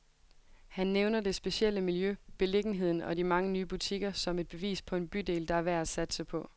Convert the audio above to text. Han nævner det specielle miljø, beliggenheden og de mange nye butikker, som et bevis på en bydel, der er værd at satse på.